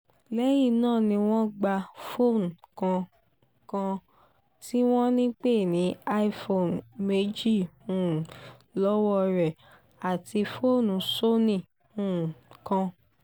lẹ́yìn náà ni wọ́n gba fóònù kan kan tí wọ́n ń pè ní iphone méjì um lọ́wọ́ ẹ̀ àti fóònù sony um kan